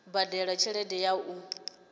u badela tshelede ya u